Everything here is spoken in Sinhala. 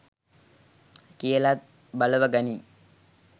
කියලත් බලවගනින්.